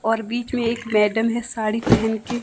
और बीच में एक मैडम है साड़ी पहेन के--